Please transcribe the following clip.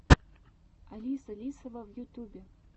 алиса лисова в ютубе